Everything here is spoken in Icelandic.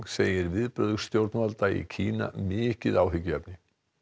segir viðbrögð stjórnvalda í Kína mikið áhyggjuefni